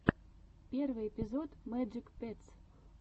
первый эпизод мэджик петс